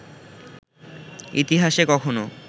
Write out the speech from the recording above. ইতিহাসে কখনো